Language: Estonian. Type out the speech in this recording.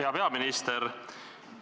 Hea peaminister!